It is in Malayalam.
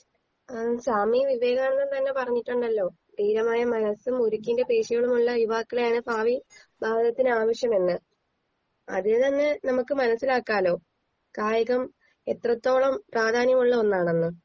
ഏഹ് സ്വാമിവിവേകാനന്ദം തന്നെ പറഞ്ഞിട്ടുണ്ടാലോ തീരമായ മനസും ഉരിക്കിന്റെ പെശയമുള്ള യുവാക്കളെയാണ് പാവി കാലത്തിന് ആവശ്യേമെന്ന് അതിലെന്നെ നമ്മുക്ക് മനസിലാക്കാലോ കായികം എത്രത്തോളം പ്രാധാന്യമുള്ള ഒന്നാണെന്ന്